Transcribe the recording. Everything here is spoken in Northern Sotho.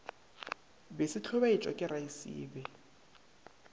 be se hlobaetšwa ke raesibe